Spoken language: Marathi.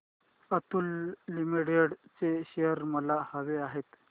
अतुल लिमिटेड चे शेअर्स मला हवे आहेत